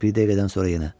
Bir dəqiqədən sonra yenə.